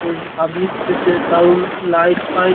এই পাবলিক প্লেসে দারুন লাইট ফাইট --